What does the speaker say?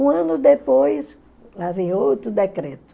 Um ano depois, lá vem outro decreto.